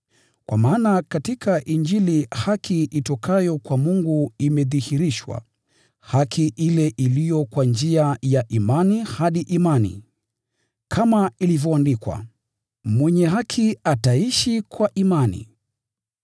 Kwa maana katika Injili haki itokayo kwa Mungu imedhihirishwa, haki ile iliyo kwa njia ya imani hadi imani. Kama ilivyoandikwa: “Mwenye haki ataishi kwa imani.”